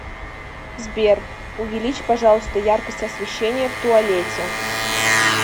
сбер увеличь пожалуйста яркость освещения в туалете